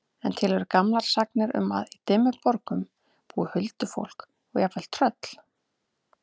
En til eru gamlar sagnir um að í Dimmuborgum búi huldufólk og jafnvel tröll.